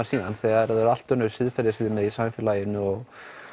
síðan þegar það eru allt önnur siðferðisleg viðmið í samfélaginu og